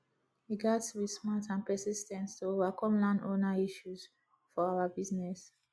we gats be smart and persis ten t to overcome landowner issues for our business